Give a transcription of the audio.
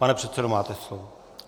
Pane předsedo, máte slovo.